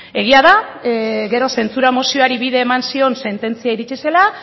egia da gero zentsura mozioari bide eman zion sententzia iritsi zela